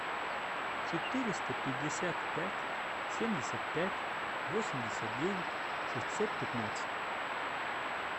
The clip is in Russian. четыреста пятьдесят пять семьдесят пять восемьдесят девять шестьсот пятнадцать